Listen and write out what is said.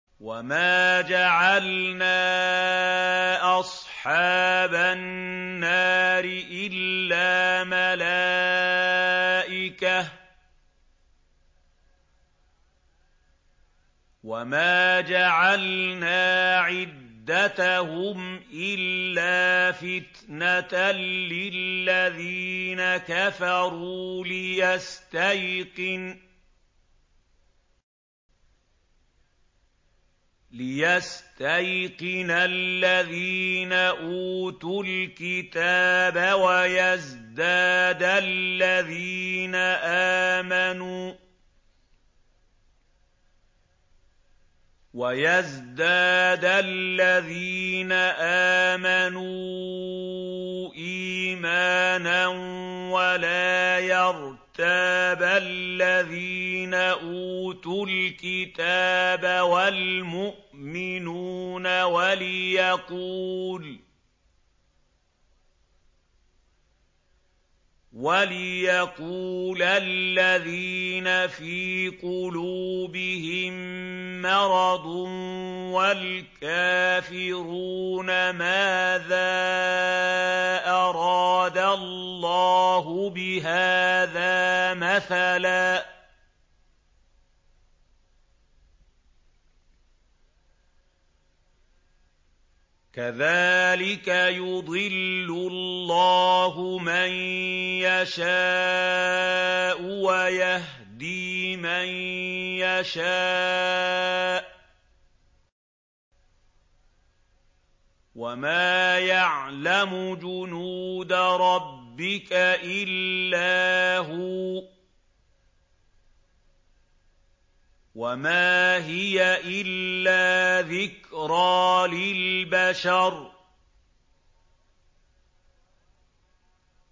وَمَا جَعَلْنَا أَصْحَابَ النَّارِ إِلَّا مَلَائِكَةً ۙ وَمَا جَعَلْنَا عِدَّتَهُمْ إِلَّا فِتْنَةً لِّلَّذِينَ كَفَرُوا لِيَسْتَيْقِنَ الَّذِينَ أُوتُوا الْكِتَابَ وَيَزْدَادَ الَّذِينَ آمَنُوا إِيمَانًا ۙ وَلَا يَرْتَابَ الَّذِينَ أُوتُوا الْكِتَابَ وَالْمُؤْمِنُونَ ۙ وَلِيَقُولَ الَّذِينَ فِي قُلُوبِهِم مَّرَضٌ وَالْكَافِرُونَ مَاذَا أَرَادَ اللَّهُ بِهَٰذَا مَثَلًا ۚ كَذَٰلِكَ يُضِلُّ اللَّهُ مَن يَشَاءُ وَيَهْدِي مَن يَشَاءُ ۚ وَمَا يَعْلَمُ جُنُودَ رَبِّكَ إِلَّا هُوَ ۚ وَمَا هِيَ إِلَّا ذِكْرَىٰ لِلْبَشَرِ